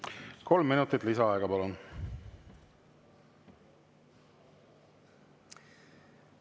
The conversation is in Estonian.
Kolm minutit lisaaega, palun!